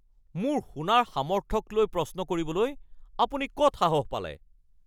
মোৰ শুনাৰ সামৰ্থক লৈ প্ৰশ্ন কৰিবলৈ আপুনি ক'ত সাহস পালে?